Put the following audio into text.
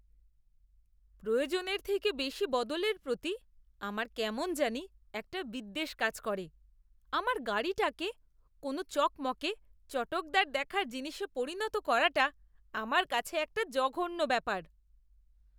প্রয়োজনের থেকে বেশি বদলের প্রতি আমার কেমন জানি একটা বিদ্বেষ কাজ করে। আমার গাড়িটাকে কোনও চকমকে, চটকদার দেখার জিনিসে পরিণত করাটা আমার কাছে একটা জঘন্য ব্যাপার।